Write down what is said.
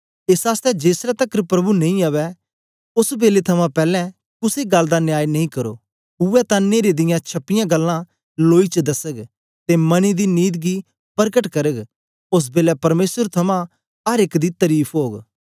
एस आसतै जेसलै तकर प्रभु नेई अवै बेलै थमां पैलैं कुसे गल्ल दा न्याय नेई करो उवै तां न्हेरे दियां छपीयां गल्लां लोई च दसग ते मनें दी नीत गी परकट करग ओस बेलै परमेसर थमां अर एक दी तरीफ ओग